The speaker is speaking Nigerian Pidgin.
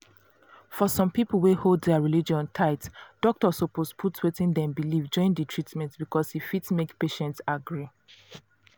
for some people wey hold their religion tight doctor suppose put wetin dem believe join the treatment because e fit make patient agree